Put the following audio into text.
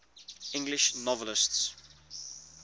english novelists